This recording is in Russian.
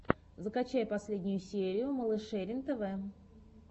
закачай последнюю серию малышерин тв